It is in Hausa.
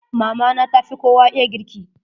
Mama na ta fi kowa iya girki.